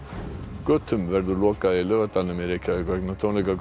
götum verður lokað í Laugardalnum í Reykjavík vegna tónleika